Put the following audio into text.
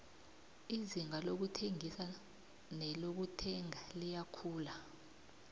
izinga lokuthengisa nelokuthenga liyakhula